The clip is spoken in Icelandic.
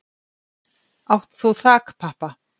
Átt þú þakpappa?